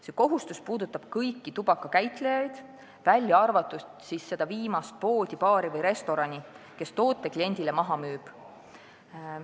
See kohustus puudutab kõiki tubakakäitlejaid, välja arvatud seda viimast poodi, baari või restorani, kes toote kliendile maha müüb.